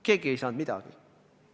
Keegi ei saanud midagi.